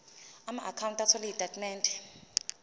amaakhawunti othola izitatimende